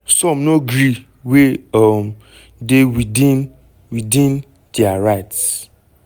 some no gree wey um dey within within dia rights.